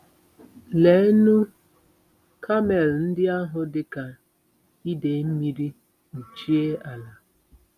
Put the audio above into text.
Leenụ, kamel ndị ahụ dị ka idei mmiri kpuchie ala!